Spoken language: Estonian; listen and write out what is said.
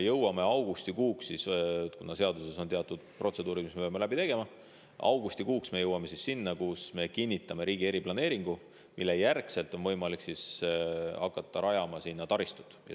Ja kuna seaduses on teatud protseduurid, mis me peame läbi tegema, siis augustikuuks jõuame selleni, et me kinnitame riigi eriplaneeringu, mille järgselt on võimalik hakata rajama sinna taristut.